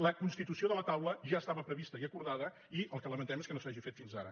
la constitució de la taula ja estava prevista i acordada i el que lamentem és que no s’hagi fet fins ara